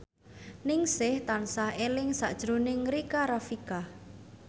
Ningsih tansah eling sakjroning Rika Rafika